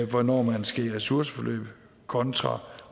hvornår man skal i ressourceforløb kontra